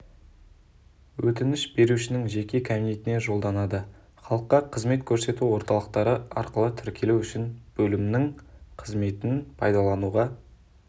өтініш берушінің жеке кабинетіне жолданады халыққа қызмет көрсету орталықтары арқылы тіркелу үшін бөлімінің қызметін пайдалануға